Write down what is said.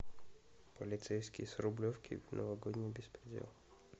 полицейский с рублевки новогодний беспредел